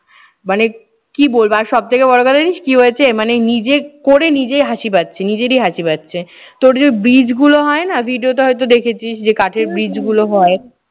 মানে কি বলবো। আর সব থেকে বড় কথা জানিস কি হয়েছে মানে নিজে করে নিজে হাসি পাচ্ছে। নিজেরই হাসি পাচ্ছে। তোর যে bridge গুলো হয় না video তে হয়তো দেখেছিস যে কাঠের bridge গুলো হয়।